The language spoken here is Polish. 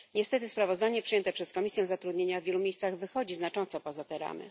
Niestety, sprawozdanie przyjęte przez Komisję Zatrudnienia w wielu miejscach wychodzi znacząco poza te ramy.